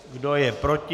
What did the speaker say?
Kdo je proti?